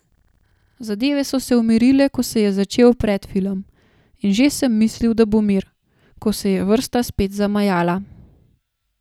Zadeve so se umirile, ko se je začel predfilm, in že sem mislil, da bo mir, ko se je vrsta spet zamajala.